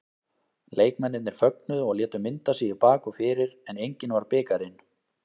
Leikmennirnir fögnuðu og létu mynda sig í bak og fyrir en enginn var bikarinn.